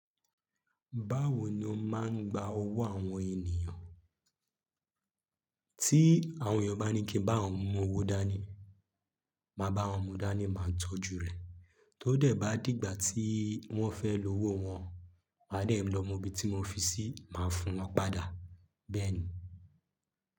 Báwo ni o máa ń gba owó àwọn ènìyàn? Tí àwọn èèyàn bá ní kí n bá àwọn mú owó dání, máa bá wọn mú dání, máa tọ́jú rẹ̀. Tó dẹ̀ bá dìgbà tí wọ́n fẹ́ lo owó wọn, màá dẹ̀ lọ mú ibi tí mo fi sí, màá fún wọn padà. Bẹ́ẹ̀ ni.